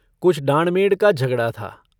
कुछ डाँड़-मेंड़ का झगड़ा था।